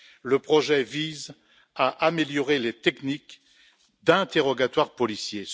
Ce projet vise à améliorer les techniques d'interrogatoire policier.